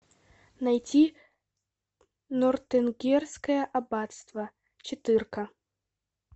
найти нортенгерское аббатство четырка